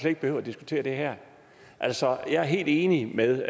ikke behøvet at diskutere det her altså jeg er helt enig med